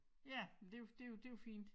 Ja men det jo det jo det jo fint